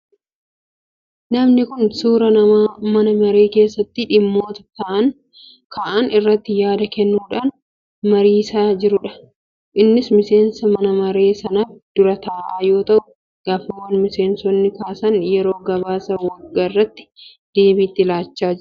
Namni kun suuraa nama mana maree keessatti dhimmoota ka'an irratti yaada kennuudhaan mariisaa jirudha. Innis miseensa mana maree sanaaf dura taa'aa yoo ta'u, gaaffiiwwan miseensonni kaasan yeroo gabaasa waggaarratti deebii itti laachaa jira.